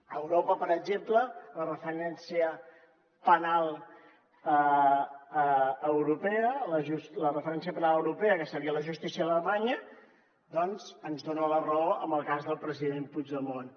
a europa per exemple la referència penal europea que seria la justícia alemanya doncs ens dona la raó en el cas del president puigdemont